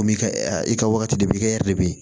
Komi i ka i ka wagati de b'i kɛ de bɛ ye